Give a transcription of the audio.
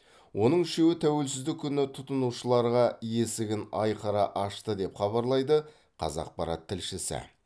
оның үшеуі тәуелсіздік күні тұтынушыларға есігін айқара ашты деп хабарлайды қазақпарат тілшісі